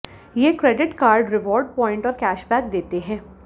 ये credit card reward point और cashback देते हैं